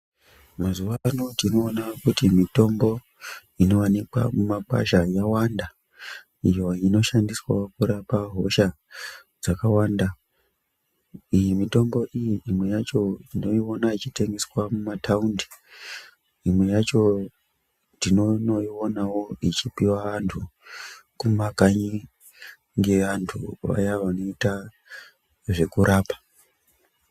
Mazuvaano tinoona kuti mitombo inowanikwa mumakwasha yawanda iyo inoshandiswawo kurapa hosha dzakawanda iyi mitombo iyi imwe yacho tinoiona yeitengeswa mumataundi imwe yacho tinonoionawo ichipiwe vantu kumakanyi ngevantu vaya vanoite zvekurapa.